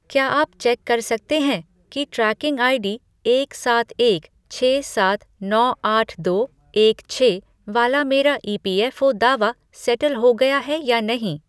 क्या आप चेक कर सकते हैं कि ट्रैकिंग आईडी एक सात एक छह सात नौ आठ दो एक छह वाला मेरा ईपीएफ़ओ दावा सैटल हो गया है या नहीं?